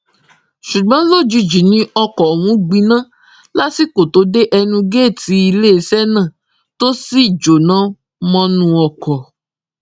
ṣùgbọn lójijì ni ọkọ ọhún gbiná lásìkò tó dé ẹnu géètì iléeṣẹ náà tó sì jóná mọnú ọkọ